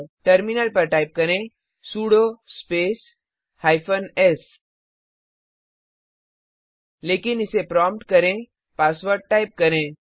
terminal पर type करें sudo space hyphen S लेकिन इसे प्रोम्प्ट करें पासवर्ड टाइप करें